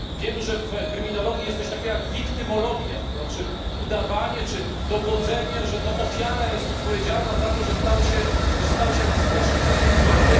Wiem, że w kryminologii jest coś takiego jak wiktymologia, to znaczy udawanie czy dowodzenie, że to ofiara jest odpowiedzialna za to, że popełniony został jakiś straszny czyn z jej udziałem.